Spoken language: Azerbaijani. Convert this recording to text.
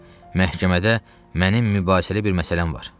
Məhkəmədə mənim mübahisəli bir məsələm var.